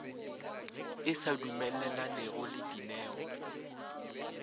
e sa dumelelanego le dineo